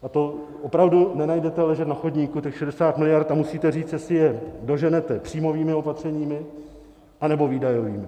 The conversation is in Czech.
A to opravdu nenajdete ležet na chodníku, těch 60 miliard, a musíte říct, jestli je doženete příjmovými opatřeními, anebo výdajovými.